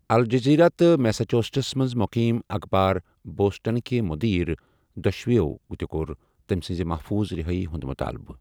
Al Jazeera تہٕ Massachusetts منٛز مقیم اخبار بوسٹنٕکہِ مٗدیر ، دۄشوٕٮ۪و تہِ کوٚر تمہِ سٕنٛزِ محفوٗظ رہٲیی ہُنٛد مطٲلبہٕ۔